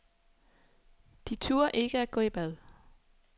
De turde ikke at gå i bad.